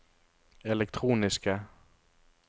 elektroniske